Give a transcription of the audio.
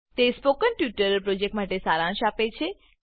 તે spoken tutorial પ્રોજેક્ટનો સારાંશ આપે છે